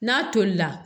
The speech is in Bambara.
N'a tolila